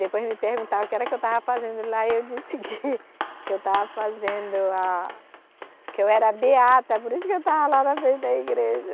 Depois me perguntaram o que era que eu estava fazendo lá e eu disse que que eu estava fazendo a, que eu era a Beata, por isso que eu estava lá na frente da igreja.